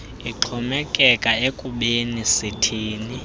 ixhomekeka ekubeni sithini